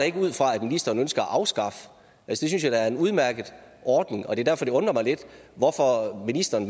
ikke ud fra at ministeren ønsker at afskaffe det synes jeg da er en udmærket ordning og det er derfor det undrer mig lidt og ministeren